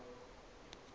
le gore o tlhopha go